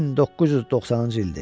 1990-cı ildir.